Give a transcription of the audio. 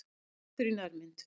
Maur í nærmynd.